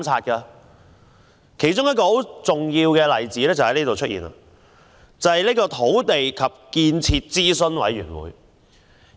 一個重要例子是土地及建設諮詢委員會。